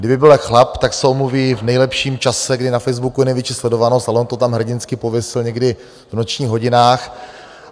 Kdyby byl chlap, tak se omluví v nejlepším čase, kdy na Facebooku je největší sledovanost, ale on to tam hrdinsky pověsil někdy v nočních hodinách.